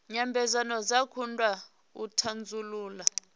nyambedzano dzo kundwa u thasulula